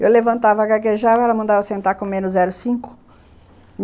Eu levantava, gaguejava, ela mandava eu sentar com menos zero vírgula cinco.